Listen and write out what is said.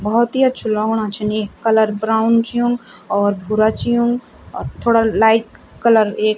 भोत ही अछू लगणु छन ये कलर ब्राउन युंक और भूरा च युंक और थोडा लाइट कलर एक --